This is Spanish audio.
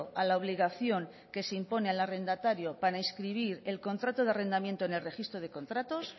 a la obligación que se impone al arrendatario para inscribir el contrato de arrendamiento en el registro de contratos